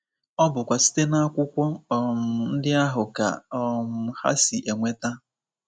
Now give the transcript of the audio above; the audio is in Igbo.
ọ bụkwa site n’akwụkwọ um ndị ahụ ka um ha si enweta...